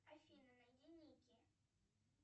афина найди никки